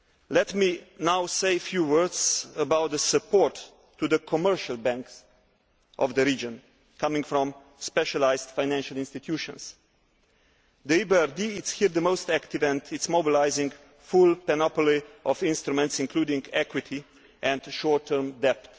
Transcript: Let me now say a few words about the support to the commercial banks in the region being provided by specialised financial institutions. Here the EBRD is the most active and it is mobilising its full panoply of instruments, including equity and short term debt.